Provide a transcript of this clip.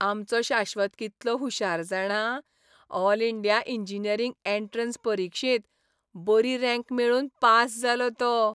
आमचो शाश्वत कितलो हुशार जाणा! ऑल इंडिया इंजिनीयरिंग एंट्रॅन्स परिक्षेंत बरी रँक मेळोवन पास जालो तो.